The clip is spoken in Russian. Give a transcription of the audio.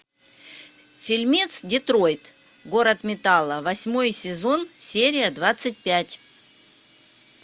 фильмец детройт город металла восьмой сезон серия двадцать пять